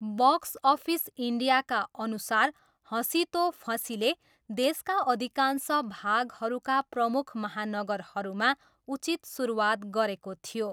Box office इन्डियाका अनुसार हसीं तो फसींले देशका अधिकांश भागहरूका प्रमुख महानगरहरूमा उचित सुरुवात गरेको थियो।